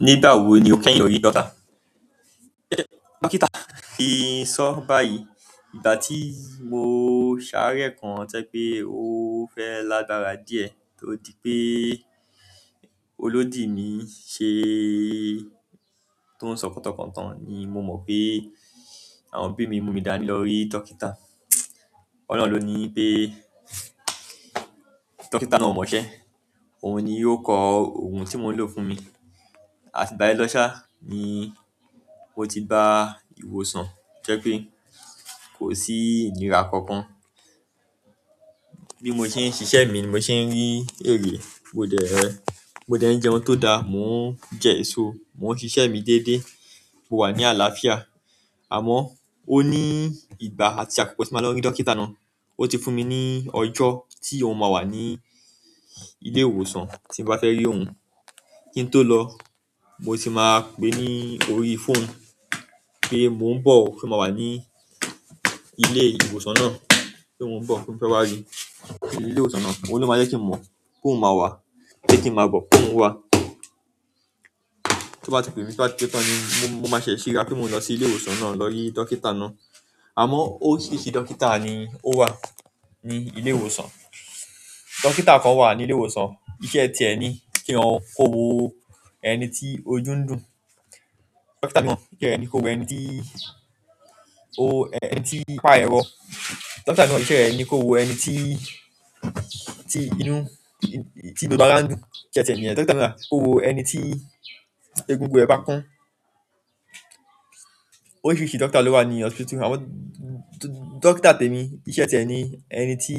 Nígbà wo ni o kẹ́yin lórí doctor? Dókítà fi sọ báyìí, ìgbà tí mo sáré kan jẹ́ pé ó fẹ́ lágbára díẹ̀ torí pé olódì mi ṣe tó ń sọkọ̀tọkọ̀ tán ni mo mọ̀ pé àwọn òbí mi mú mi dání lọ rí dókítà. Ọ́lohun ló ní pé dókítà náà ò mọṣẹ́, òun ni yóò kọ ohun tí mò ń lò fún mi. Àti bá yẹn lọ́ṣá ni ó ti ba ìwòsàn jẹ́ pé kò sí ìnira kankan. Bí mo ṣe ń ṣiṣẹ́ mi mo ṣe ń rí èrè, mo jẹ́ ẹ, mo dẹ́ jẹun tó dáa, mò ń jẹ èso, mò ń ṣiṣẹ́ mi dédé, mo wà ní àlàáfíà. Àmọ́ ó ní ìgbà àti àkókò tí màá lọ rí dókítà náà. Ó ti fún mi ní ọjọ́ tí òun máa wà ní ilé ìwòsàn tí bá fẹ́ rí òun. Kí n tó lọ, mo ti máa pè é ní orí phone pé mò ń bọ̀ ó, pé mo máa wà ní ilé ìwòsàn náà, pé mò ń bọ̀, pé mo fẹ́ wá rí ilé ìwòsàn náà. Òun ló máa jẹ́ kí n mọ̀ pé òun máa wà, pẹ́ kí n máa bọ̀, pé òun wà. Tó bá ti pé mi, tó bá ti pé tán ni mo máa ṣẹ̀sì ra pé mo máa lọ sí ilé ìwòsàn náà lọ rí dókítà náà. Àmọ́ óòrìṣírisi dókítà ni ó wà ní ilé ìwòsàn. Dókítà kan wà ní ilé ìwòsàn, iṣẹ́ tiẹ ni kí ó wo ẹni tí ojú ń dùn. Dókítà náà iṣẹ́ rẹ̀ ni kó wo ẹni tí o ẹni tí ipá ẹ̀rọ. Dókítà náà iṣẹ́ re ko wo ẹni ti inú gbogbo ara n dùn iṣẹ́ tẹ ni. Dókítà náà kó wo ẹni tí egungun ẹ bá kán. Oríṣiríṣi dókítà lo wa ni hospitu amo dókítà temi iṣẹ́ tie ni ẹni ti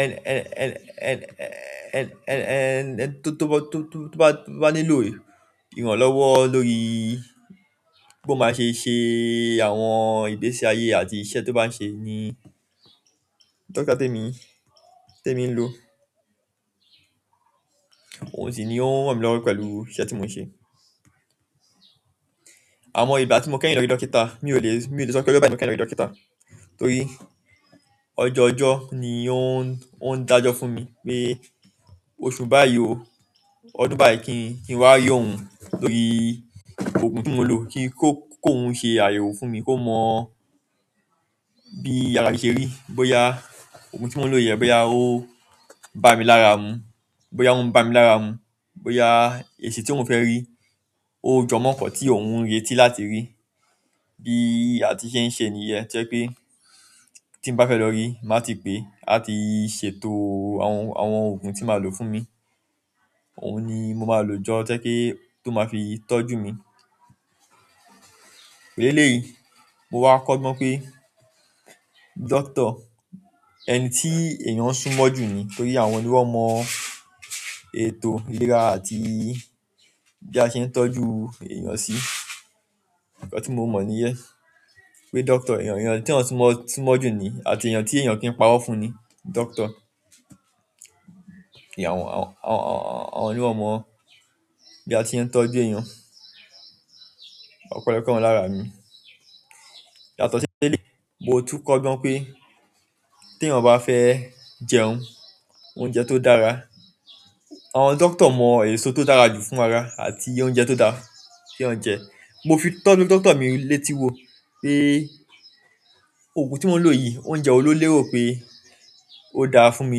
ẹni toba nílò ìrànlọ́wọ́ lórí bo maa se se àwọn ìgbésí aye re àti iṣẹ́ to ba se ni dókítà temi lo. Àmọ́ òun sì ni ó ràn mìlọ́wọ́ pẹ̀lú iṣẹ́ tí mò ń ṣe. Àmọ́ ìgbà tí mo kẹ́yin lọ rí dókítà mi ò le, mi ò lè sọ pé lóbìnrin kẹ́yin lọ rí dókítà torí ọjọ́ ọjọ́ ni ó ń dájọ́ fún mi pé oṣù báyìí o, ọdún báyìí kí n wá rí òun lórí òògùn tí mò ń lò kí kó, kó hun ṣe àyẹ̀wò fún mi kó mọ bí arami ṣe rí. Bí ó ya òògùn tí mò ń lò yẹn bí ó ya ó bá mi lára mu. Bí ó ya òun bá mi lára mu. Bó ya èsi tí mò fẹ́ rí ó jọmọ́ nkan tí òun ń retí láti rí. Bí a ti ṣe ń ṣe nìyen to jẹ́ pé tí ń bá fẹ́ lọ rí, máa ti pè a ti ṣètò àwọn, àwọn òògùn tí màá lò fún mi. Òun ni mo máa lò jọ to jẹ́ pe tó máa fi tọ́jú mi. Eleyi mo wa kogbon pe dókítà eni ti eyan súnmọ́ ju ni torí àwọn ni wọn mọ ètò ìlera àti bi ase tọ́jú eyan si nkan ti mo nìyẹn pe dókítà èyán ti èyán súnmọ́ ju ni àti eyan ti eyan o ki n paro fún ni kí àwọn ló mọ bí a ṣe ń tọ́jú èèyàn. Ọ̀pelọpe wọn lára mi. Yàtọ̀ sí elé mo tún kọ́ gbọ́n pé tí èèyàn bá fẹ́ jẹun, oúnjẹ tó dára, àwọn dókítà mọ èso tó dára jù fún ara àti oúnjẹ tó da ke eyan jẹ. Mo fi tọ́ dókítà mi létí wo pé òògùn tí mò ń lò yìí oúnjẹ wo ló lérò pé ó dára fún mi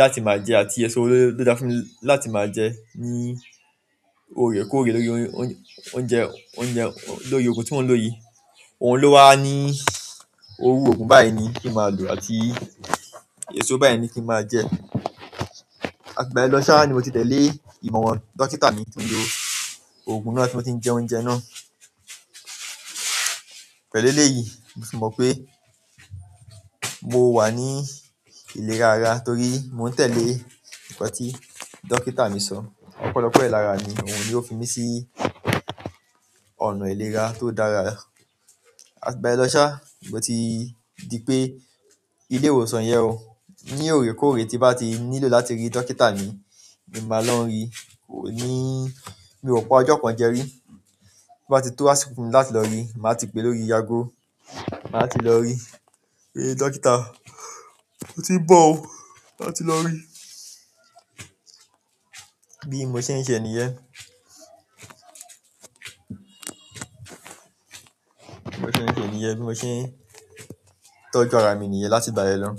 láti máa jẹ àti èso wo ló dára fún mi láti máa jẹ ní ò rèkórè lórí oúnjẹ, oúnjẹ, lórí òògùn tí mò ń lò yìí. Òun ló wá ní òògùn báyìí ni kí màá lò àti èso báyìí ni kí màá jẹ. Àti igbá yẹn lọ́ṣá ni mo ti tẹ̀lé ìmọ̀ran dókítà mi níbi òògùn náà tí mò tí n jẹ oúnjẹ náà. Pẹ̀lú lélẹ̀ yìí mo sì mọ̀ pé mo wà ní ìlera ara torí mò ń tẹ̀lé nǹkan tí dókítà mi sọ. Ọ̀pelọpe ẹ̀ lára mi òun ni ó fi mí sí ọ̀nà ìlera tó dára. Àti ìgbà yen losa moti dipe ile ìwòsàn yen o ni orekoore ti n ba nílò láti ri dókítà ni mo maa n lo ri ni mi o pa ojo kan je ri. Bí màá ti tó ásíkò fún mi láti lọ rí, màá ti pè lórí ago, màá ti lọ rí pé dókítà mo ti ń bọ̀ o, màá ti lọ rí. Bí mo ṣe ń ṣe ènìyàn. Bí mo ṣe ń ṣe ènìyàn. Bí mo ṣe ń tọ́jú ara mi nìyẹn láti bá yẹn lọ.